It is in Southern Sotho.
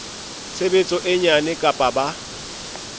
tshebetso e nyane kapa ba